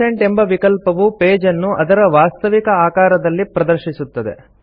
100 ಎಂಬ ವಿಕಲ್ಪವು ಪೇಜ್ ಅನ್ನು ಅದರ ವಾಸ್ತವಿಕ ಆಕಾರದಲ್ಲಿ ಪ್ರದರ್ಶಿಸುತ್ತದೆ